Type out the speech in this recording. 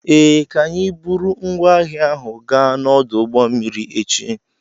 Ee, ka anyi buru ngwaahia ahụ gaa n'ọdụ ụgbọ mmiri echi.